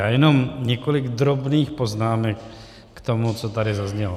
Já jenom několik drobných poznámek k tomu, co tady zaznělo.